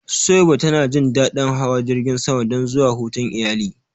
Suwaiba ta na jin daɗin hawa jirgin sama don zuwa hutun iyali